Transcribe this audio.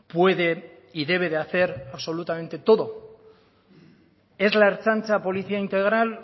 puede y debe de hacer absolutamente todo es la ertzaintza policía integral